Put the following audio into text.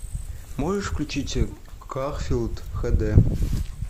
можешь включить гарфилд хд